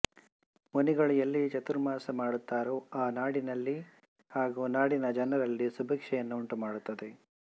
ಮುನಿಗಳು ಎಲ್ಲಿ ಚಾತುರ್ಮಾಸ ಮಾಡುತ್ತಾರೋ ಆ ನಾಡಿನನಲ್ಲಿ ಹಾಗೂ ನಾಡಿನ ಜನರಲ್ಲಿ ಸುಭೀಕ್ಷೆಯನ್ನು ಉಂಟು ಮಾಡುತ್ತದೆ